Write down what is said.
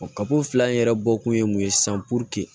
kabu fila in yɛrɛ bɔ kun ye mun ye sisan